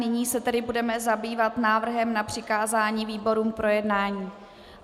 Nyní se tedy budeme zabývat návrhem na přikázání výborům k projednání.